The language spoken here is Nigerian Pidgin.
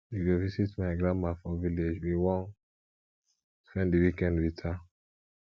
we go visit my grandma for village we wan spend di weekend wit her